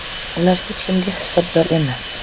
Ular hech kimga hisobdor emas.